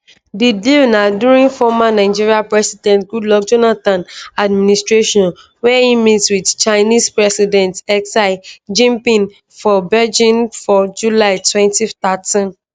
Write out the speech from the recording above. di deal na during former nigerian president goodluck jonathan administration wen e meet wit chinese president xi jinping for beijing for july 2013